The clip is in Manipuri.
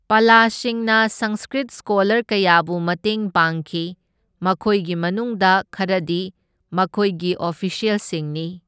ꯄꯂꯁꯤꯡꯅ ꯁꯪꯁꯀ꯭ꯔꯤꯠ ꯁ꯭ꯀꯣꯂꯔ ꯀꯌꯥꯕꯨ ꯃꯇꯦꯡ ꯄꯥꯡꯈꯤ, ꯃꯈꯣꯏꯒꯤ ꯃꯅꯨꯡꯗ ꯈꯔꯗꯤ ꯃꯈꯣꯏꯒꯤ ꯑꯣꯐꯤꯁ꯭ꯌꯦꯜꯁꯤꯡꯅꯤ꯫